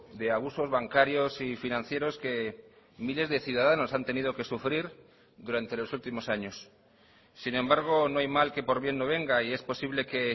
de abusos bancarios y financieros que miles de ciudadanos han tenido que sufrir durante los últimos años sin embargo no hay mal que por bien no venga y es posible que